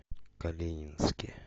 калининске